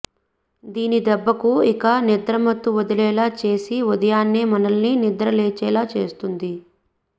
దీని దెబ్బకు ఇక నిద్రమత్తు వదిలేలా చేసి ఉదయాన్నే మనల్ని నిద్రలేచేలా చేస్తుంది